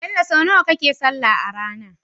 Bello so naya kake sallah arAna?